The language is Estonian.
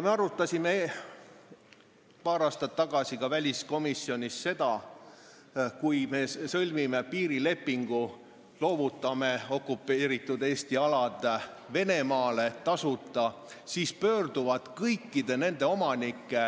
Me arutasime paar aastat tagasi väliskomisjonis seda, et kui me sõlmime piirilepingu ja loovutame okupeeritud Eesti alad Venemaale tasuta, siis pöörduvad kõikide nende omanike